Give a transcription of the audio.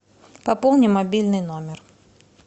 пополни мобильный номер